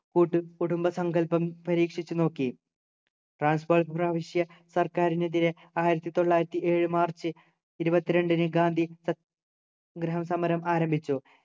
കൂട്ടുകുടുംബ സങ്കൽപ്പം പരീക്ഷിച്ചു നോക്കി transfer പ്രവിശ്യ സർക്കാരിനെതിരെ ആയിരത്തി തൊള്ളായിരത്തി ഏഴു മാർച്ച് ഇരുപത്തിരണ്ടിനു ഗാന്ധി സത്യ ഗ്രഹസമരം ആരംഭിച്ചു